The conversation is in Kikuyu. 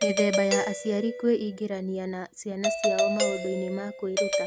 Mĩthemba ya aciari kwĩingĩrania na ciana ciao maũndũ-inĩ ma kwĩruta.